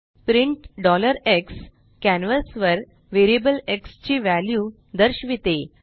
print x canvas वर variable x ची value दर्शविते